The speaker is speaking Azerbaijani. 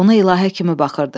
Ona ilahə kimi baxırdı.